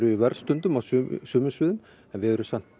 í vörn stundum á sumum sviðum en við erum samt